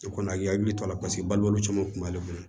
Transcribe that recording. I kɔni a k'i hakili to a la paseke balo caman kun b'ale bolo